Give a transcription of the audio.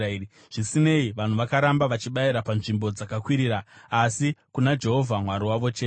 Zvisinei, vanhu vakaramba vachibayira panzvimbo dzakakwirira, asi kuna Jehovha Mwari wavo chete.